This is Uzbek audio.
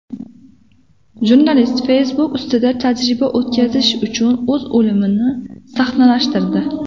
Jurnalist Facebook ustida tajriba o‘tkazish uchun o‘z o‘limini sahnalashtirdi.